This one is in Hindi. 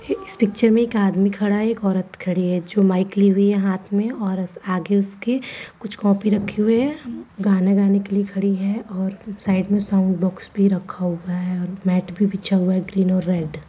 इस पिक्चर में एक आदमी खड़ा है एक औरत खड़ी है जो माइक लि हुई है हाथ में और आगे उसके कुछ कॉपी रखी हुई है गाना गाने के लिए खड़ी है और साइड में सोंग बाक्स भी रखा हुआ है और मैट भी बिछा हुआ है ग्रीन और रेड ।